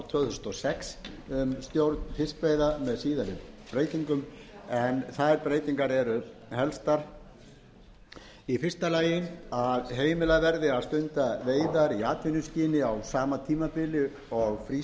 tvö þúsund og sex um stjórn fiskveiða með síðari breytingum eru þær helstar eftirfarandi fyrsta heimilað verði að stunda veiðar í atvinnuskyni á sama tímabili og frístundaveiðar